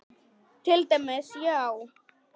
Til dæmis, já.